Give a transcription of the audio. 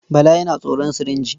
Bala yana tsoron sirinji.